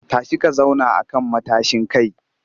Tashi ka zauna a kan matashin kai!